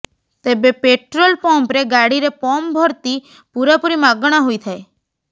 ତେବେ ପେଟ୍ରୋଲ ପମ୍ପରେ ଗାଡ଼ିରେ ପମ୍ପ ଭର୍ତ୍ତି ପୂରାପୂରି ମାଗଣା ହୋଇଥାଏ